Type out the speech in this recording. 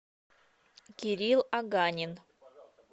кирилл аганин